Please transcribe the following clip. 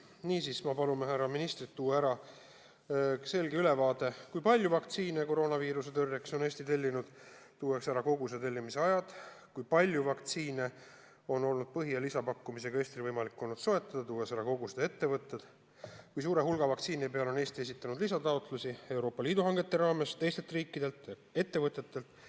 Niisiis, me palume härra ministril anda selge ülevaade, kui palju vaktsiine koroonaviiruse tõrjeks on Eesti tellinud, tuues ära koguste tellimise ajad; kui palju vaktsiine on Eestil võimalik olnud põhi- ja lisapakkumisega soetada, tuues ära kogused ja ettevõtted; ning kui suure hulga vaktsiini peale on Eesti esitanud lisataotlusi Euroopa Liidu hangete raames, teistelt riikidelt ja ettevõtetelt.